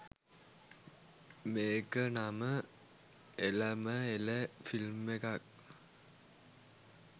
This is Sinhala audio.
මේ‍ක නම එලම එළ ෆිල්ම් එකක්